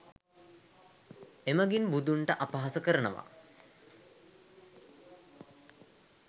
එමගින් බුදුන්ට අපහාස කරනවා.